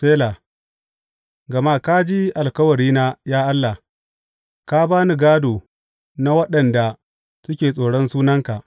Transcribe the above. Sela Gama ka ji alkawarina, ya Allah; ka ba ni gādo na waɗanda suke tsoron sunanka.